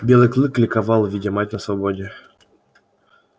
белый клык ликовал видя мать на свободе